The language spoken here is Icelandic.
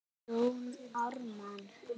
Jón Ármann